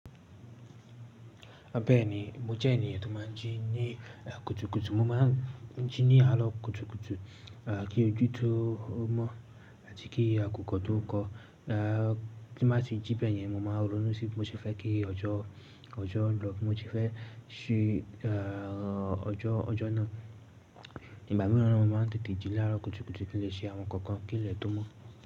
Bẹ́ẹ̀ni, mo jẹ́ ènìyàn tó máa ń jí ní à kùtùkùtù. Mo máa ń jí ní àrọ́ kùtùkùtù, a, kí ojú tó mọ̀ àti kí àkùkọ tó kọ. Tí mo bá ti jí bẹ́ẹ̀ yẹn, mo máa ronú sí bí mo ṣe fẹ́ kí ọjọ́ lọ, bí mo ṣe fẹ́ ṣí ọjọ́ náà. Ìgbà mìíràn na, mo máa ń tètè jí lára kùtùkùtù kí n lè ṣe àwọn kankan kí ilẹ̀ tó mọ́